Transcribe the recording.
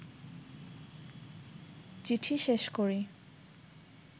চিঠি শেষ করি